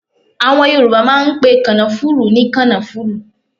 Àwọn Yorùbá máà ń pe kànáfùrú ní kànáfùrú